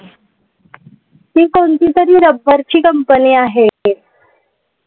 ती कोणतीतरी रबरची company आहे.